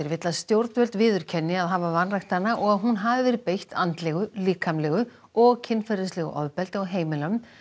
vill að stjórnvöld viðurkenni að hafa vanrækt hana og að hún hafi verið beitt andlegu líkamlegu og kynferðislegu ofbeldi á heimilum